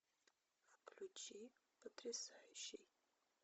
включи потрясающий